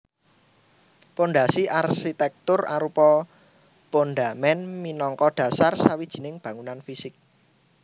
Pondhasi arsitèktur arupa pondhamèn minangka dhasar sawijining bangunan fisik